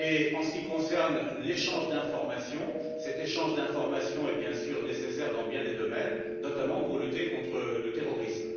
En ce qui concerne l'échange d'informations, cet échange est bien sûr nécessaire dans bien des domaines, notamment pour lutter contre le terrorisme.